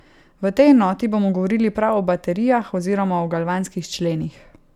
V tej enoti bomo govorili prav o baterijah oziroma o galvanskih členih.